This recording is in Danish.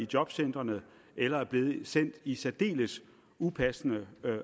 jobcentrene eller er blevet sendt i særdeles upassende